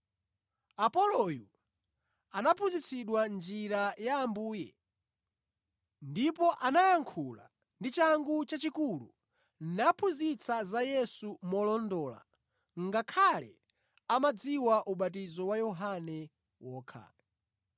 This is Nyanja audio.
Apoloyu anaphunzitsidwa njira ya Ambuye, ndipo anayankhula ndi changu chachikulu naphunzitsa za Yesu molondola, ngakhale amadziwa ubatizo wa Yohane wokha.